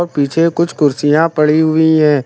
पीछे कुछ कुर्सियां पड़ी हुई हैं।